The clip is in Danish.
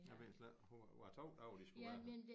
Jeg ved slet ikke hvor var 2 dage de skulle være her